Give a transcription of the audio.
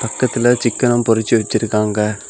பக்கத்துல சிக்கனும் பொறிச்சு வெச்சுருக்காங்க.